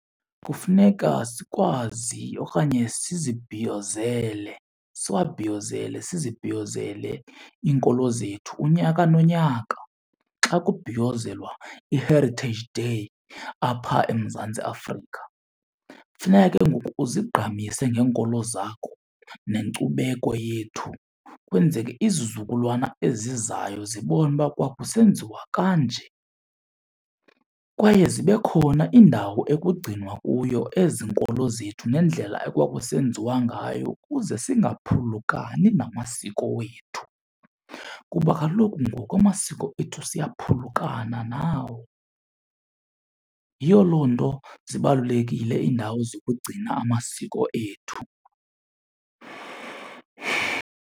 Kufuneka sikwazi okanye sizibhiyozele, siwabhiyozele, sizibhiyozele iinkolo zethu unyaka nonyaka xa kubhiyozelwa iHeritage Day apha eMzantsi Afrika. Funeka ke ngoku uzigqamise ngeenkolo zakho nenkcubeko yethu kwenzeke izizukulwana ezizayo zibone uba kwakusenziwa kanje. Kwaye zibe khona iindawo ekugcinwa kuyo ezi nkolo zethu nendlela ekwakusenziwa ngayo ukuze singaphulukani namasiko wethu, kuba kaloku ngoku amasiko ethu siyaphulukana nawo. Yiyo loo nto zibalulekile iindawo zokugcina amasiko ethu.